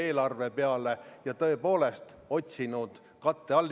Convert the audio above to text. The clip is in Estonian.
Ettepaneku poolt hääletas 33 Riigikogu liiget, vastu oli 55, erapooletuid ei ole.